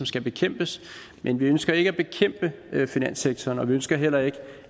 skal bekæmpes men vi ønsker ikke at bekæmpe finanssektoren og vi ønsker heller ikke